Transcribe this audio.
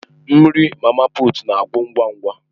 Nri mama puut na-agwụ ngwa ngwa.